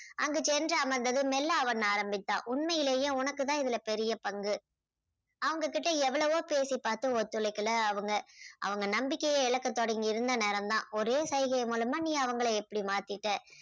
அங்கு சென்று அமர்ந்ததும் மெல்ல அவன் ஆரம்பித்தான் உண்மையிலேயே உனக்கு தான் இதுல பெரிய பங்கு. அவங்ககிட்ட எவ்வளவோ பேசிப்பாத்தும் ஒத்துழைக்கலை அவங்க. அவங்க நம்பிக்கையை இழக்க தொடங்கி இருந்த நேரம் தான் ஒரே செய்கை மூலமா நீ அவங்களை இப்படி மாத்திட்ட.